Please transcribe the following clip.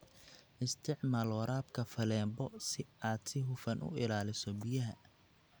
Isticmaal waraabka faleebo si aad si hufan u ilaaliso biyaha.